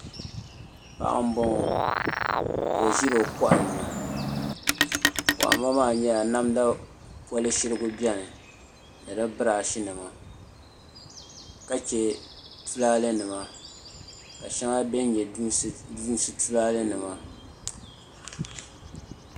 Paɣa n boŋo ka o ʒiri o kohamma kohamma maa nyɛla namda polishirigu biɛni ni di birash nima ka chɛ tulaalɛ nima ka shɛŋa biɛni nyɛ duunsi tulaalɛ nima